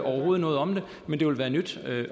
noget om det men det vil være nyt